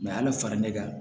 al'a fara ne kan